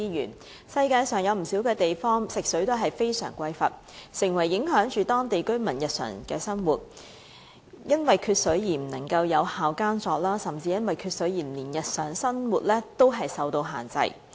在世界上不少地方，食水都非常匱乏，以致影響當地居民的日常生活，因為缺水而不能有效耕作，甚至因為缺水而令日常生活受到限制。